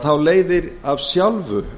þá leiðir af sjálfu